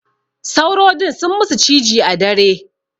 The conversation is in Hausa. Sauro din sun musu ciji a dare.